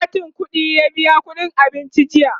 da katin ƙuɗiya biya ƙuɗin abincin jiya